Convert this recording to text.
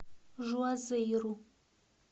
жуазейру